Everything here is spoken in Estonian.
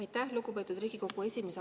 Aitäh, lugupeetud Riigikogu esimees!